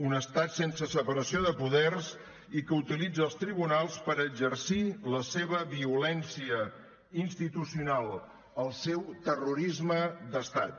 un estat sense separació de poders i que utilitza els tribunals per exercir la seva violència institucional el seu terrorisme d’estat